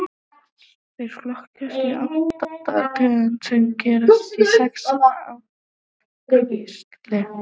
Þeir flokkast í átta tegundir sem greinast í sex ættkvíslir.